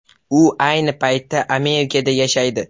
U ayni paytda Amerikada yashaydi.